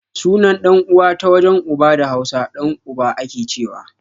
Sunan ɗan uwa ta wajen uba da hausa, ɗan uba akecewa